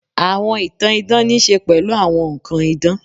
Àwọn ìtàn idán ní í ṣe pẹ̀lú àwọn nnkan idán